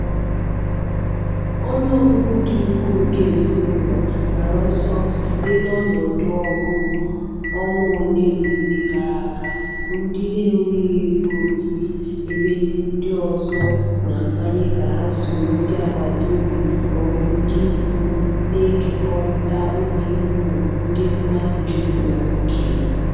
Ọnụ ọgụgụ dị ukwuu nke ezinụlọ, gbara ọsọ site n’ọnọdụ ọgụ ọnwa ole na ole gara aga, bụ ndị na-enweghị ebe obibi ebe ndị ọzọ na-amanye ka ha soro ndị agbata obi ma ọ bụ ndị ikwu na-ekekọrịta ụlọikwuu ndị mmadụ jubigara ókè.